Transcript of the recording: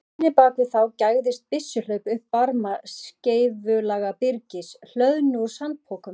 Í hlíðinni bak við þá gægðist byssuhlaup upp fyrir barma skeifulaga byrgis, hlöðnu úr sandpokum.